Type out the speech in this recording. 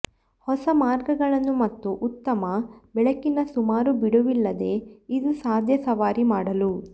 ಹೊಸ ಮಾರ್ಗಗಳನ್ನು ಮತ್ತು ಉತ್ತಮ ಬೆಳಕಿನ ಸುಮಾರು ಬಿಡುವಿಲ್ಲದೆ ಇದು ಸಾಧ್ಯ ಸವಾರಿ ಮಾಡಲು